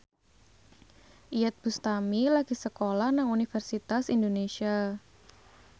Iyeth Bustami lagi sekolah nang Universitas Indonesia